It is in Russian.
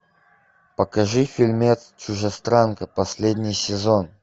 покажи фильмец чужестранка последний сезон